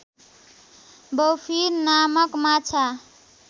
bowfin नामक माछा